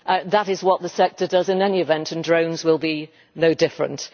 That is what the sector does in any event, and drones will be no different.